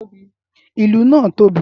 ìlù naa tobi.